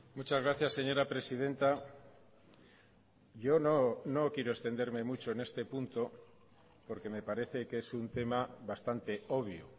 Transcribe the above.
muchas gracias señora presidenta yo no no quiero extenderme mucho en este punto porque me parece que es un tema bastante obvio